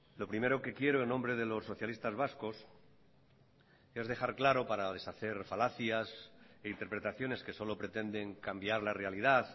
lo primero que quiero en nombre de los socialistas vascos es dejar claro para deshacer falacias e interpretaciones que solo pretenden cambiar la realidad